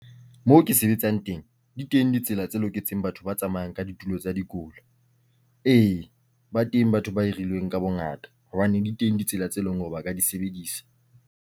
Moo ke sebetsang teng, di teng ditsela tse loketseng batho ba tsamayang ka ditulo tsa dikola. E, ba teng batho ba e hirilweng ka bongata hobane di teng ditsela tse leng hore ba ka di sebedisa.